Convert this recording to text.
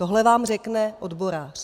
Tohle vám řekne odborář.